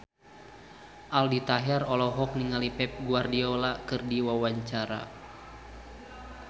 Aldi Taher olohok ningali Pep Guardiola keur diwawancara